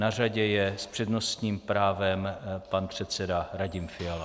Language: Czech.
Na řadě je s přednostním právem pan předseda Radim Fiala.